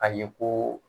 A ye ko